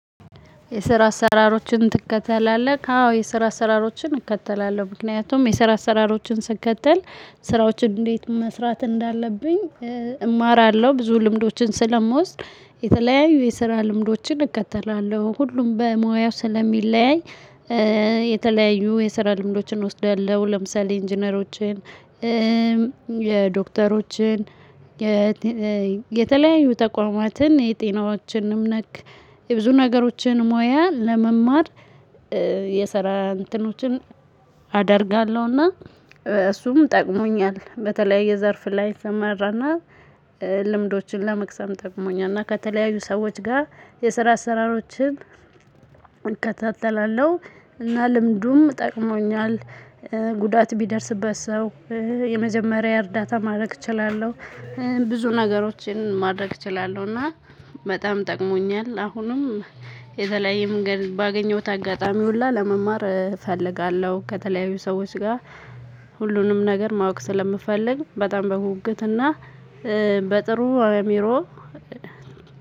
የስራ አሰራሮችን ትከተላለህ አዎ የስራ አሰራሮችን እከተላለሁ ምክንያቱም የስራ አሰራሮችን ስትከተል ስራዎችን እንዴት መስራት እንዳለብኝ? እማራለሁ ብዙ ልምዶችን ስለምወስድ የተለያዩ የስራ ልምዶችን እከተላለሁ ሁሉም በሙያው ስለሚለያይ። የተለያዩ የሰራ ልምዶችን እወስዳለሁ ለምሳሌ ኢንጂነሮችን። የዶክተሮችን የተለያዩ ተቋማትን የጤናዎችንም ነክ የብዙ ነገሮችን ሙያ ለመማር። የሰራን እንትኖችን አደርጋለሁና እሱም ጠቅሞኛል። በተለያየ ዘርፍ ላይ እሰማራና ልምዶችን ለመቅሰም ጠቅሞኛል። እና ከተለያዩ ሰዎች ጋር የሰራ አሰራሮችን እከታተላለሁ እና ልምዱም ጠቅሞኛል። ጉዳት ቢደርስበት ሰው የመጀመሪያ እርዳታ ማድረግ እችላለሁ። ብዙ ነገሮችን ማድረግ እችላለሁ እና በጣም ጠቅሞኛል። አሁንም የተለያየም ባገኘሁት አጋጣሚ ሁሉ ለመማር እፈልጋለሁ። ከተለያዩ ሰዎች ጋር ሁሉንም ነገር ማወቅ ስለምፈልግ በጣም በጉጉት እና በጥሩ አእሚሮ።